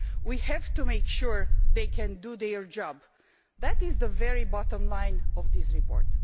We have to make sure that they can do their job. That is the very bottom line of this report.